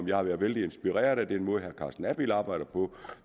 jeg har været vældig inspireret af den måde herre carsten abild arbejder på